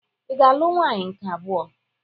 Ị ga-alụ nwaanyị nke abụọ?